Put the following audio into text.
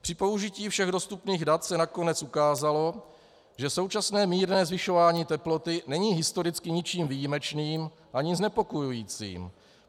Při použití všech dostupných dat se nakonec ukázalo, že současné mírné zvyšování teploty není historicky ničím výjimečným ani znepokojujícím.